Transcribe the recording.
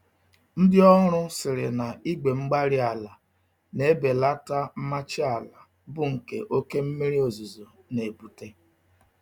Ndị ọrụ sịrị na igwe-mgbárí-ala n'ebelata mmachi àlà, bu nke oké mmírí ozuzo n'ebute